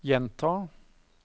gjenta